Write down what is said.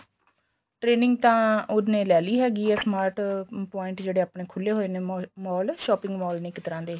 training ਤਾਂ ਉਹਨੇ ਲੈ ਲਈ ਹੈਗੀ ਏ smart point ਜਿਹੜੇ ਆਪਣੇ ਖੁੱਲੇ ਹੋਏ ਨੇ mall shopping mall ਨੇ ਇੱਕ ਤਰ੍ਹਾਂ ਦੇ ਇਹ